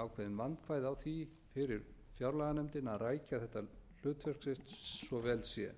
vandkvæði á því fyrir fjárlaganefndina að rækja þetta hlutverk sitt svo vel sé